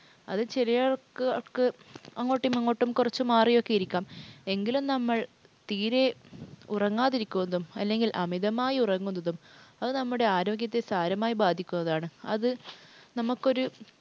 അത് ചെറിയ അക്ക് അക്ക് അങ്ങോട്ടും ഇങ്ങോട്ടും കുറച്ചു മാറിയൊക്കെ ഇരിക്കാം. എങ്കിലും നമ്മൾ തീരെ ഉറങ്ങാതിരിക്കുന്നതും അല്ലെങ്കിൽ അമിതമായി ഉറങ്ങുന്നതും അത് നമ്മുടെ ആരോഗ്യത്തെ സാരമായി ബാധിക്കുന്നതാണ്. അത് നമുക്കൊരു